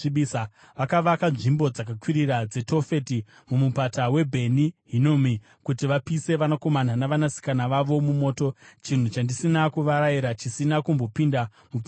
Vakavaka nzvimbo dzakakwirira dzeTofeti muMupata waBheni Hinomi kuti vapise vanakomana navasikana vavo mumoto, chinhu chandisina kuvarayira, chisina kumbopinda mupfungwa dzangu.